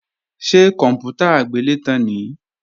Ṣé kòǹpútà agbélétan nìí?